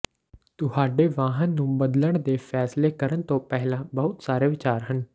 ਤੁਹਾਡੇ ਵਾਹਨ ਨੂੰ ਬਦਲਣ ਦੇ ਫੈਸਲੇ ਕਰਨ ਤੋਂ ਪਹਿਲਾਂ ਬਹੁਤ ਸਾਰੇ ਵਿਚਾਰ ਹਨ